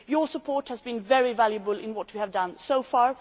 Your support has been very valuable in what we have done so far.